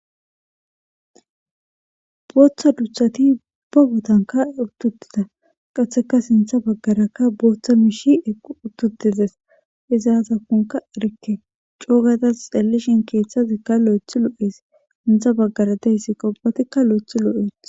booththa duthati uba gotanka uttutida qaheka sintha baggarakka booththa miishi equ uttutides izaazakkonka erikke coogatas xalishin keeththatikka lo7ethi lo7es intha baggara deyssikka ubbatikka lo7ethi lo7et